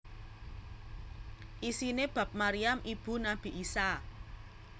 Isiné bab Maryam ibu Nabi Isa